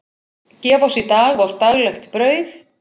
Gef oss í dag vort daglegt brauð.